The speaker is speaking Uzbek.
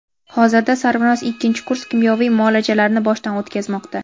Hozirda Sarvinoz ikkinchi kurs kimyoviy muolajalarni boshdan o‘tkazmoqda.